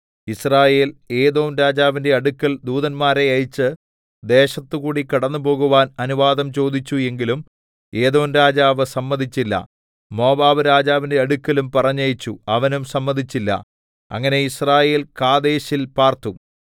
യിസ്രായേൽ ഏദോം രാജാവിന്റെ അടുക്കൽ ദൂതന്മാരെ അയച്ച് ദേശത്തുകൂടി കടന്നുപോകുവാൻ അനുവാദം ചോദിച്ചു എങ്കിലും ഏദോംരാജാവ് സമ്മതിച്ചില്ല മോവാബ്‌രാജാവിന്റെ അടുക്കലും പറഞ്ഞയച്ചു അവനും സമ്മതിച്ചില്ല അങ്ങനെ യിസ്രായേൽ കാദേശിൽ പാർത്തു